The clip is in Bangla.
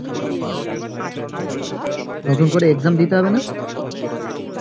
নতুন করে exam দিতে হবে না